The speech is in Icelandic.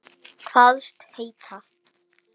Kvaðst hann heita